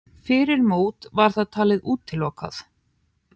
Fyrir mót var það talið útilokað.